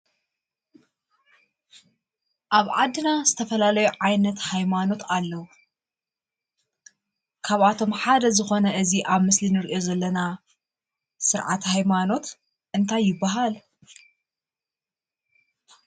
ኣብ ዓድና ዝተፈላለዩ ዓይነት ሃይማኖት ኣለዉ:: ካብኣቶም ሓደ ዝኮነ እዚ ኣብ ምስሊ ንሪኦ ዘለና ስርዓት ሃይማኖት እንታይ ይበሃል?